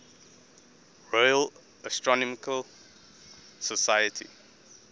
royal astronomical society